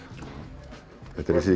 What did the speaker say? þetta er þessi